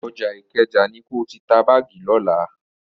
Ọjà Ìkẹjà ni ko ti ta báàgì lọ́la.